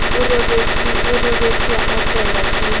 o robetse a opelwa ke